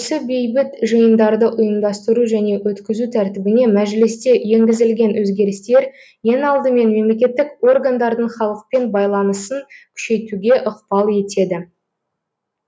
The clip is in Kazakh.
осы бейбіт жиындарды ұйымдастыру және өткізу тәртібіне мәжілісте енгізілген өзгерістер ең алдымен мемлекеттік органдардың халықпен байланысын күшейтуге ықпал етеді